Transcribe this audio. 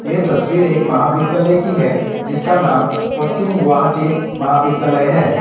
यह तस्वीर एक महाविद्यालय की है जिसका नाम पश्चिम गुवाहाटी महाविद्यालय है।